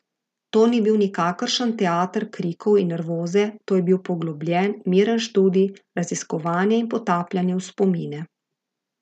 To ni bil nikakršen teater krikov in nervoze, to je bil poglobljen, miren študij, raziskovanje in potapljanje v spomine.